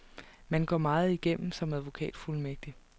Man går meget igennem som advokatfuldmægtig.